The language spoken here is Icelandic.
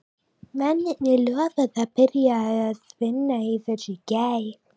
Mennirnir lofuðu að byrja að vinna að þessu í gær.